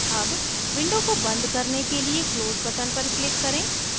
अब window को बन्द करने के लिए close button पर click करें